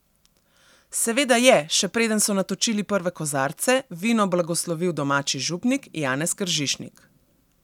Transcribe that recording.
Seveda je, še preden so natočili prve kozarce, vino blagoslovil domači župnik Janez Kržišnik.